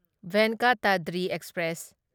Venkatadri express